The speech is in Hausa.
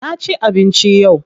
Na ci abinci yau.